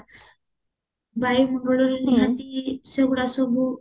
ବାୟୁ ମଣ୍ଡଳରେ ନିହାତି ସେଗୁଡା ସବୁ